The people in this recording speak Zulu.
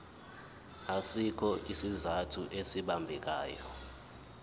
asikho isizathu esibambekayo